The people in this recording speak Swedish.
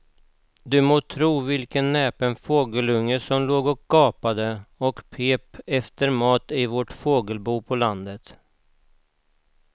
Du må tro vilken näpen fågelunge som låg och gapade och pep efter mat i vårt fågelbo på landet.